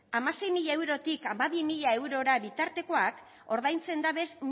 hamasei mila eurotik hamabi mila eurora bitartekoak ordaintzen dabez